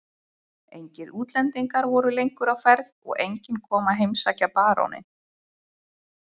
Engir útlendingar voru lengur á ferð og enginn kom að heimsækja baróninn.